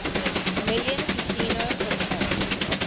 million casino hotel